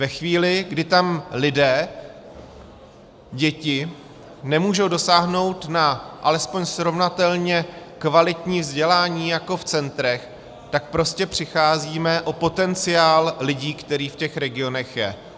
Ve chvíli, kdy tam lidé, děti, nemůžou dosáhnout na alespoň srovnatelně kvalitní vzdělání jako v centrech, tak prostě přicházíme o potenciál lidí, který v těch regionech je.